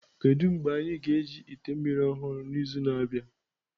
Kedu mgbe anyị ga-eji ite mmiri ọhụrụ n'izu na-abịa?